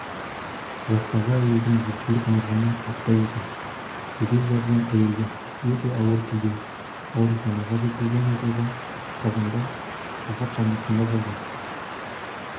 жастағы әйелдің жүктілік мерзімі апта екен жедел жәрдем әйелді өте ауыр күйде ауруханаға жеткізген оқиға қазанда сағат шамасында болған